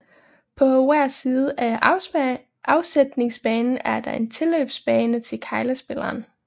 På hver side af afsætningsbanen er der en tilløbsbane til keglespilleren